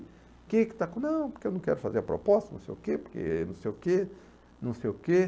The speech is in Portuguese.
O que que está. Não, porque eu não quero fazer a proposta, não sei o quê, porque não sei o quê, não sei o quê.